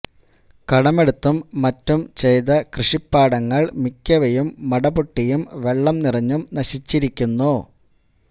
കടമെടുത്തും മറ്റും ചെയ്ത കൃഷിപ്പാടങ്ങള് മിക്കവയും മടപൊട്ടിയും വെള്ളം നിറഞ്ഞും നശിച്ചിരിക്കുന്നു